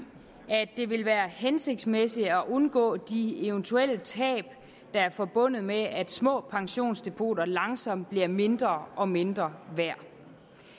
at det vil være hensigtsmæssigt at undgå de eventuelle tab der er forbundet med at små pensionsdepoter langsomt bliver mindre og mindre værd